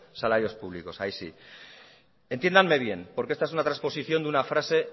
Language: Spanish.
salarios públicos ahí sí entiéndanme bien porque esta es una transposición de una frase